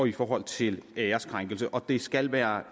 i forhold til æreskrænkelse og det skal være